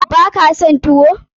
Baka son tuwo?